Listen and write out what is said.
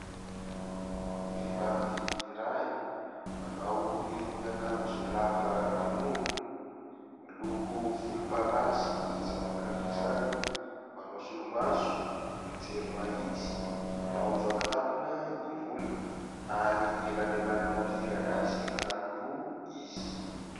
Vehivavy iray manao irony akanjo lava irony, miloko volomparasy izany akanjo izany, manao solomaso, mijery mahitsy, manao vaki-tampina ny volony, ary elanelanina mpihira gasy anankiroa izy.